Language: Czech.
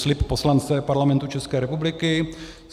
Slib poslance Parlamentu České republiky.